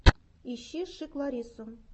ищи шик ларису